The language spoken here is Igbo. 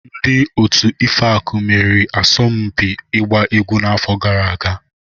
Ndị otu Ifeaku meriri asọmpi ịgba egwu n'afọ gara aga.